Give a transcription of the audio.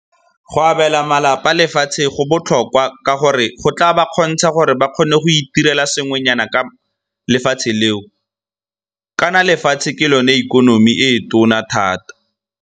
Go abela malapa lefatshe go botlhokwa ka gore go tla ba kgontsha gore ba kgone go itirela sengwenyana ka lefatshe leo, kana lefatshe ke lone ikonomi e e tona thata.